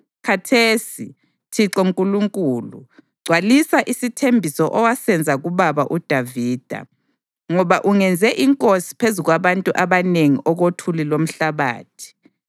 Khathesi, Thixo Nkulunkulu, gcwalisa isithembiso owasenza kubaba uDavida, ngoba ungenze inkosi phezu kwabantu abanengi okothuli lomhlabathi.